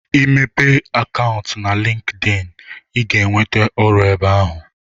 Ị mepee akantụ na linkeein ị ga ewente ọrụ ebe ahụ